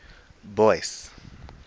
boyce